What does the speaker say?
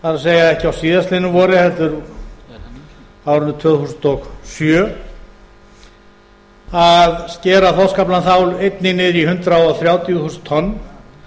það er ekki á síðastliðnu vori heldur á árinu tvö þúsund og sjö að skera þorskaflann þá einnig niður í hundrað þrjátíu þúsund tonn